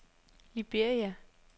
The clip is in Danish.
Liberia